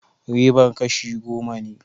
Ribar kashi goma ne